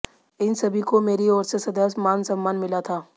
इन सभी को मेरी ओर से सदैव मान सम्मान मिला था